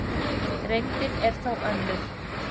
Reyndin er þó önnur.